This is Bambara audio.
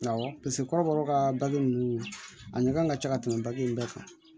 Awɔ kɔrɔ ka dakɛ ninnu a ɲɛ kan ka ca ka tɛmɛ baki in bɛɛ kan